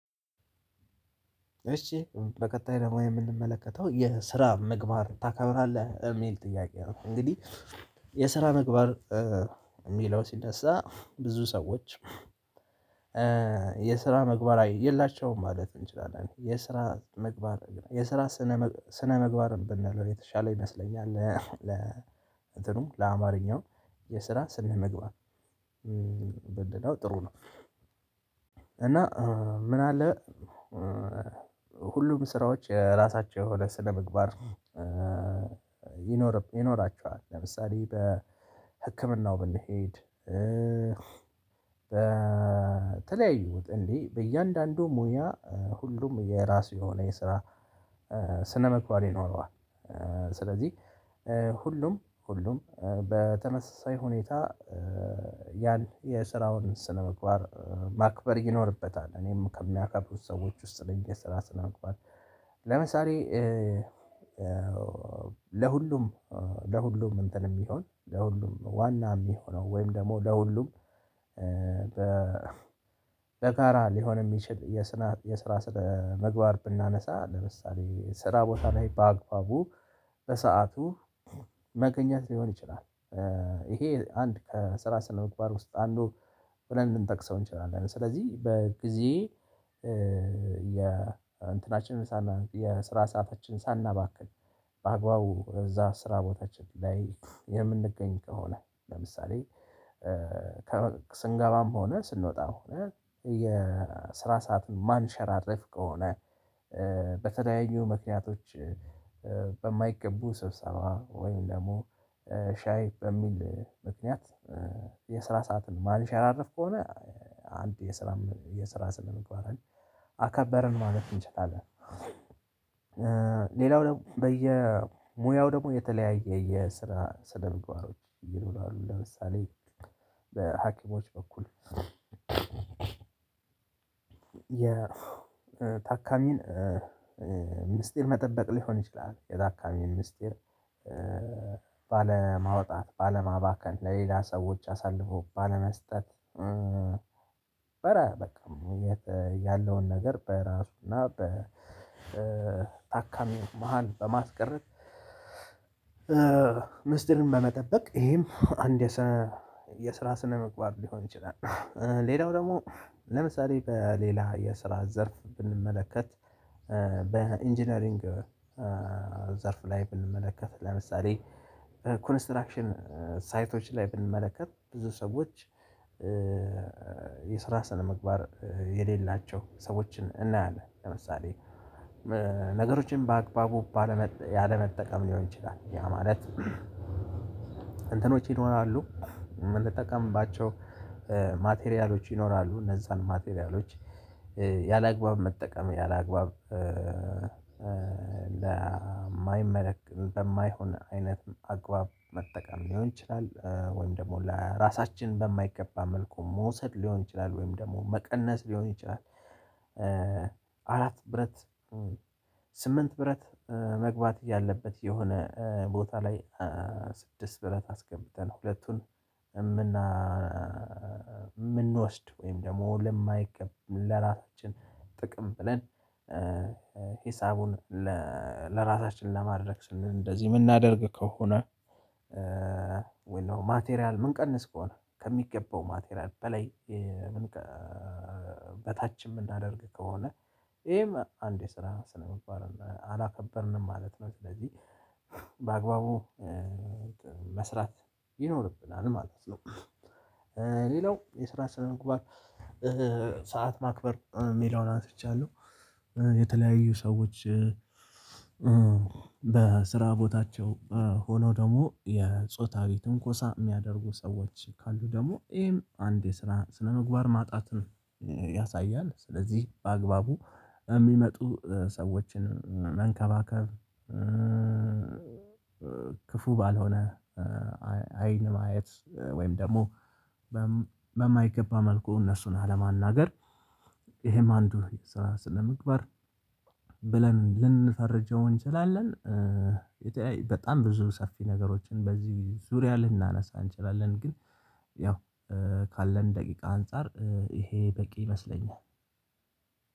እሺ በቀጣይ ደግሞ የምንመለከተው የስራ ምግባር ታከብራለህ እሚል ጥያቄ ነው። እንግዲህ የስራ ምግባር የሚለው ሲነሳ ብዙ ሰዎች የስራ መግባት የላቸውም ማለት እንችላለን። የስራ መግባት የስራ ስነ ስነ መግባር ብንለው የተሻለ ይመስለኛል። ለ እንትኑ ለአማርኛው የስራ ስነ ስነምግባ ብንለው ጥሩ ነው። እና ምን አለ? ሁሉም ስራዎች ራሳቸው የሆነ ስለምግባር ይኖራቸዋል ለምሳሌ በህክምናው ብንሄድ በተለያዩት እንዴ በእያንዳንዱ ሙያ ሁሉም የራሱ የሆነ የስራ ስነምግባር ይኖረዋል። ስለዚህ ሁሉም ሁሉም በተነሳሳይ ሁኔታ ያለ የስራውን ስነምግባር ማክበር ይኖርበታል እኔም ከሚያከብሩት ሰዎች ውስጥ ለመግባት። ለምሳሌ ለሁሉም ለሁሉም እንትን የሚሆን ለሁሉም ዋና የሚሆነው ወይም ደግሞ ለሁሉም በተራ ሊሆን የሚችል የስራ ስነ ምግባር ብናነሳ ለምሳሌ ስራ ቦታ ላይ በአግባቡ በሰአቱ መገኘት ሊሆን ይችላል። ይሄ አንድ ከስራ ስነምግባር ውስጥ አንዱ ብለን ልንጠቅሰው እንችላለን አይደል? ስለዚህ በጊዜ የእንትናችንን ሳና የስራ ሰዓታችን ሳናባክል በአግባቡ እዛ ስራ ቦታችን ላይ የምንገኝ ከሆነ ለምሳሌ ስንገባም ሆነ ስንወጣ ሆነ የስራ ሰዓት ማንሸራረፍ ከሆነ በተለያዩ ምክንያቶች በማይገቡ ስብሰባ ወይም ደግሞ ሻይ በሚል ምክንያት የስራ ሰዓትን ማንሸራርፍ ከሆነ አንድ የስራ የስራ ስነምግባር አከበርን ማለት እንችላለን። ሌላው ደግሞ በየሙያው ደግሞ የተለያየ የስራ ስነምግባሮች ይሉናሉ ለምሳሌ በሀኪሞች በኩል የታካሚን ምስጢር መጠበቅ ሊሆን ይችላል። የታካሚ ምስጢር ባለማውጣት ባለማባከን ለሌላ ሰዎች አሳልፎ ባለመስጠት ነበረ በቃ የት ያለውን ነገር በራሱ እና በታካሚ መሃል በማስቀረት ምስጢርን በመጠበቅ ይሄም አንድ የስነ የስራ ስነምግባር ሊሆን ይችላል። ሌላው ደግሞ ለምሳሌ በሌላ የስራ ዘርፍ ብንመለከት በኢንጂነሪንግ ዘርፍ ላይ ብንመለከት ለምሳሌ ኮንስትራክሽን ሳይቶች ላይ ብንመለከት ብዙ ሰዎች የስራ ሰነግባር የሌላቸው ሰዎችን እናያለን። ለምሳሌ ነገሮችን በአግባቡ ያለመጠቀም ሊሆን ይችላል ያ ማለት እንትኖች ይኖራሉ የምንጠቀምባቸው ማቴሪያሎች ይኖራሉ እነዛን ማቴሪያሎች ያላግባብ መጠቀም ያላግባብ ለማይመለከት በማይሆን አይነት አግባብ መጠቀም ሊሆን ይችላል። ወይም ደግሞ ለራሳችን በማይገባ መልኩ መውሰድ ሊሆን ይችላል ወይም ደግሞ መቀነስ ሊሆን ይችላል። አራት ብረት ስምንት ብረት መግባት እያለበት የሆነ ቦታ ላይ ስድስት ብለን አስገብተን ሁለቱን የምና የምንወስድ ወይም ደግሞ ለማይገባን ለራሳችን ጥቅም ብለን ሂሳቡን ለራሳችን ለማድረግ ስንል እንደዚህ የምናደርግ ከሆነ ወይስ ማቴሪያል ምንቀንስ ከሆነ ከሚገባው ማቴሪያል በላይ በታች የምናደርግ ከሆነ ይሄም አንድ የስራ ስነ ምግባር አላከበርንም ማለት ነው። ስለዚህ በአግባቡ መስራት ይኖርብናል ማለት ነው። ሌላው የስራ ስነምግባር ሰዓት ማክበር የሚለውን አንስቻለሁ። የተለያዩ ሰዎች በስራ ቦታቸው ሆኖ ደግሞ የጾታዊን ትንኮሳ የሚያደርጉ ሰዎች ካሉ ደግሞ ይሄም አንድ የስራ ስነምግባር ማጣትን ነው ያሳያል። ስለዚህ በአግባቡ የሚመጡ ሰዎችን መንከባከብ ክፉ ባልሆነ አይን ማየት ወይም ደግሞ በማይገባ መልኩ እነሱን አለማናገር ይሄም አንዱ ስነ ምግባር ብለን ልንፈርጀው እንችላለን። በጣም ብዙ ሰፊ ነገሮችን በዚህ ዙሪያ ልናነሳ እንችላለን ግን ያው ካለን ደቂቃ አንፃር ይሄ በቂ ይመስለኛል።